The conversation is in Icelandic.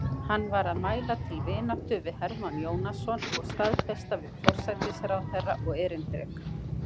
Hann var að mæla til vináttu við Hermann Jónasson og staðfesta við forsætisráðherra og erindreka